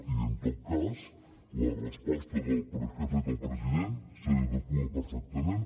i en tot cas la resposta que ha fet el president s’adequa perfectament